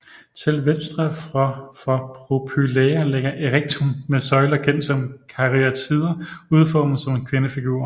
Til venstre for Propylæa ligger Erechteum med søjler kendt som karyatider udformet som kvindefigurer